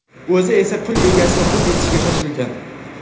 O‘zi esa pul egasini quvib yetishga shoshilgan.